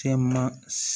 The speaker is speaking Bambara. Cɛ ma